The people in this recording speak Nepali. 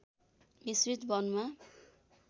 मिश्रित वनमा